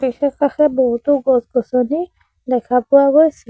আশে-পাশে বহুতো গছ-গছনি দেখা পোৱা গৈছে।